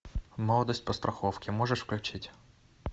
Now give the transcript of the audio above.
молодость по страховке можешь включить